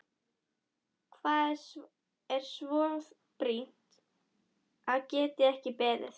Hvað er svo brýnt að það geti ekki beðið?